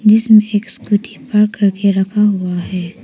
जिसमें एक scooty park करके रखा हुआ है।